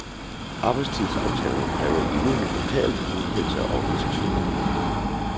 Arbejdstidsaftalerne kræver enighed lokalt og godkendelse af organisationerne.